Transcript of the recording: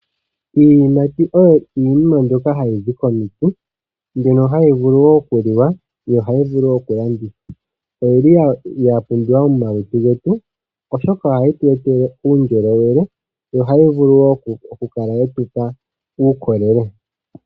Iiyimati oyo iinima mbyoka hayi zi komiti, mbyono hayi vulu wo okuliwa ho ohayi vulu wo okulandithwa. Oyili ya pumbiwa momalutu getu oshoka ohayi tu etele uundjolowele, yo ohayi vulu wo okukala ye tu pa uukolele.